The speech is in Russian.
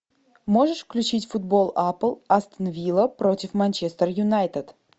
можешь включить футбол апл астон вилла против манчестер юнайтед